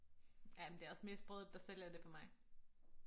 Ja men det også mest brødet der sælger det for mig